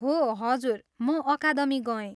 हो! हजुर, म अकादमी गएँ।